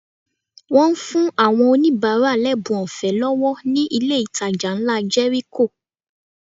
Wọ́n fún àwọn oníbàárà lẹ́bùn ọ̀fẹ́ lọ́wọ́ ní ilé ìtajà ńlá Jẹ́ríkò